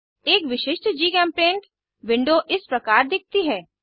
एक विशिष्ट GChemPaint window इस प्रकार दिखती है